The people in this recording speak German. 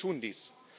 Viele tun dies.